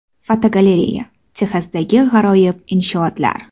Fotogalereya: Texasdagi g‘aroyib inshootlar.